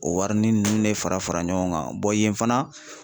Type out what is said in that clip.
O warinin nunnu de fara fara ɲɔgɔn kan bɔn yen fana